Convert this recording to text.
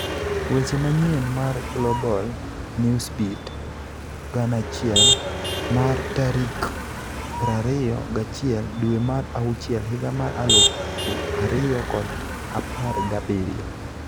Weche manyien mar Global Newsbeat 1000 mar tarik prariyo ga achiel dwee mar auchiel higa mar alufu ariyo kod apargabirio